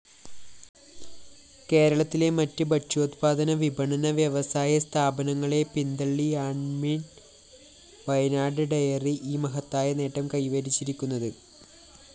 കേരളത്തിലെമറ്റ് ഭക്ഷ്യോത്പാദന വിപണന വ്യവസായസ്ഥാപനങ്ങളെ പിന്തള്ളിയാണ്മില്‍മവയനാട്‌ഡെയറിഈ മഹത്തായ നേട്ടം കൈവരിച്ചിരിക്കുന്നത്